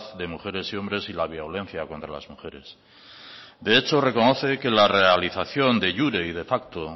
de mujeres y hombres y la violencia contra las mujeres de hecho reconoce que la realización de iure y de facto